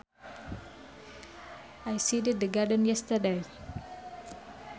I seeded the garden yesterday